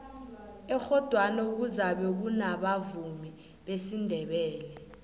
ekghodwana kuzabe kunabavumi besindebele